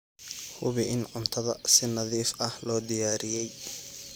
Hubi in cuntada si nadiif ah loo diyaariyey.